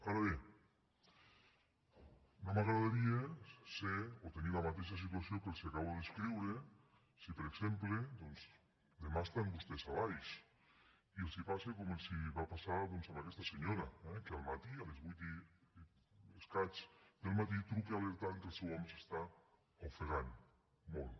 ara bé no m’agradaria ser o tenir la mateixa situació que els acabo de descriure si per exemple doncs demà estan vostès a valls i els passa com li va passar a aquesta senyora eh que al matí a les vuit i escaig del matí truca alertant que el seu home s’està ofegant molt